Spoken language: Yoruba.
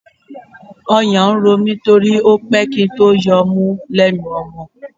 Ọyàn ń ro mí torí ó pẹ́ kí n tó yọ ọmú lẹ́nu ọmọ.